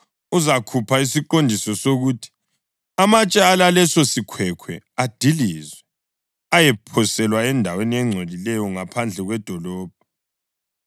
uzakhupha isiqondiso sokuthi amatshe alaleso sikhwekhwe adilizwe, ayephoselwa endaweni engcolileyo ngaphandle kwedolobho.